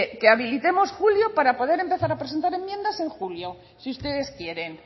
que habilitemos julio para poder empezar a presentar enmiendas en julio si ustedes quieren